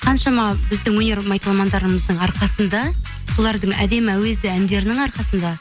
қаншама біздің өнер майталмандарымыздың арқасында солардың әдемі әуезді әндерінің арқасында